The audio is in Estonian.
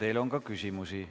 Teile on ka küsimusi.